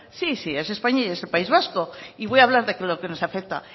sí sí es españa y es el país vasco y voy a hablar de lo que nos afecta